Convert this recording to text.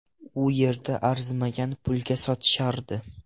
U yerda arzimagan pulga sotishardi.